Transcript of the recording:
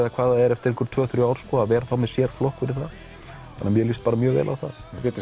eftir tvö til þrjú ár að vera þá með sér flokk fyrir það þannig mér líst bara mjög vel á það Védís